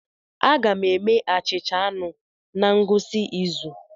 Aga m eme achịcha anụ na ngwụsị izu